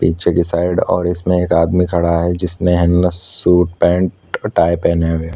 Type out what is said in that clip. पीछे की साइड और इसमें एक आदमी खड़ा है जिसने है न सूट पेंट टाइ पहने हुए हैं।